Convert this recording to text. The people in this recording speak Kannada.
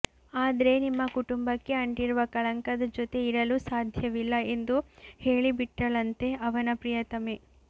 ಆದ್ರೆ ನಿಮ್ಮ ಕುಟುಂಬಕ್ಕೆಅಂಟಿರುವ ಕಳಂಕದ ಜೊತೆ ಇರಲು ಸಾಧ್ಯವಿಲ್ಲ ಎಂದು ಹೇಳಿಬಿಟ್ಟಳಂತೆ ಅವನ ಪ್ರಿಯತಮೆ